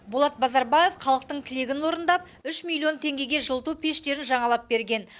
болат базарбаев халықтың тілегін орындап үш миллион теңгеге жылыту пештерін жаңалап берген